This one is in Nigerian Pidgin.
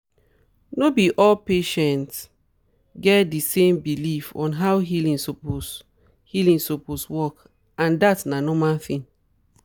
no be all patients get di same belief on how healing suppose healing suppose work and dat na normal thing